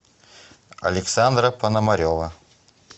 александра пономарева